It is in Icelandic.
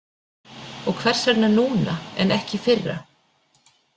Og hvers vegna núna en ekki í fyrra?